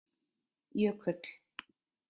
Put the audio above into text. Jökull